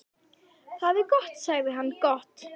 Það er gott sagði hann, gott